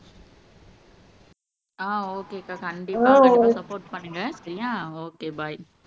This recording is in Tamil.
ஆஹ் ஓகே அக்கா கண்டிப்பா சப்போர்ட் பண்ணுங்க சரியா ஓகே பாய்